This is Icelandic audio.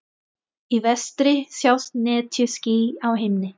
Í vestri sjást netjuský á himni.